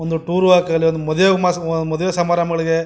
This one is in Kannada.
ಒಂದು ಟೂರ್ ಆಗ್ಲಿ ಒಂದು ಮಾಡುವೆ ಸಮಾರಂಭಗಳಿಗೆ -